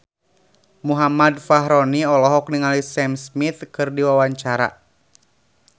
Muhammad Fachroni olohok ningali Sam Smith keur diwawancara